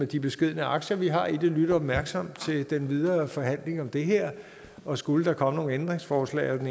de beskedne aktier vi har i det lytte opmærksomt til den videre forhandling om det her og skulle der kommer nogle ændringsforslag af den